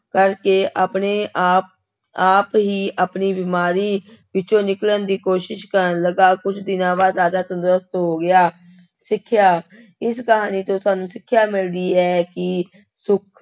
ਕਰਕੇ ਆਪਣੇ ਆਪ ਆਪ ਹੀ ਆਪਣੀ ਬਿਮਾਰੀ ਵਿੱਚੋਂ ਨਿਕਲਣ ਦੀ ਕੋਸ਼ਿਸ਼ ਕਰਨ ਲੱਗਾ, ਕੁੱਝ ਦਿਨਾਂ ਬਾਅਦ ਰਾਜਾ ਤੰਦਰੁਸਤ ਹੋ ਗਿਆ, ਸਿੱਖਿਆ, ਇਸ ਕਹਾਣੀ ਤੋਂ ਸਾਨੂੰ ਸਿੱਖਿਆ ਮਿਲਦੀ ਹੈ ਕਿ ਸੁੱਖ